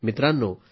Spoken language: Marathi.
मित्रांनो